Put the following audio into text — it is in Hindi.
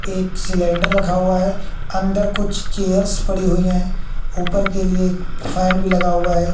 एक सिलेंडर रखा हुआ है अंदर कुछ चेयर्स पड़ी हुई हैं ऊपर के लिए एक फैन भी लगा हुआ है।